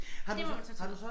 Det må man så tage med